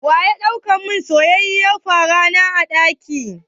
Waya ɗau mun soyayyiyar farana a ɗaki?